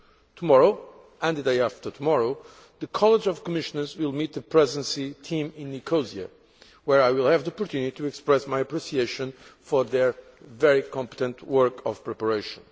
Tomorrow, and the day after tomorrow, the College of Commissioners will meet the Presidency team in Nicosia, where I will have the opportunity to express my appreciation for their very competent work of preparation.